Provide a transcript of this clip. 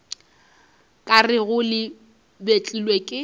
ka rego le betlilwe ke